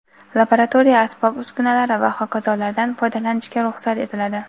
laboratoriya asbob-uskunalari va hokazolardan) foydalanishga ruxsat etiladi.